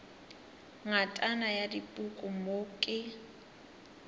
ngatana ya dipuku mo ke